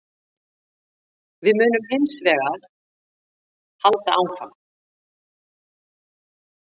Við munum hins vegar halda áfram